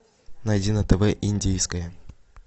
найди на тв индийское